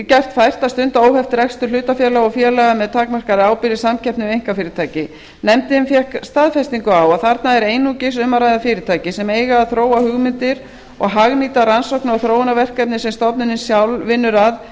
gert fært að stunda óheft rekstur hlutafélaga og félaga með takmarkaðri ábyrgð í samkeppni við einkafyrirtæki nefndin fékk staðfestingu á að þarna er einungis um að ræða fyrirtæki sem eiga að þróa hugmyndir og hagnýta rannsókna og þróunarverkefni sem stofnunin sjálf vinnur að